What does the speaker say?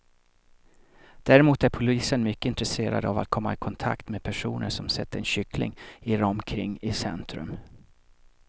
Däremot är polisen mycket intresserad av att komma i kontakt med personer som sett en kyckling irra omkring i centrum.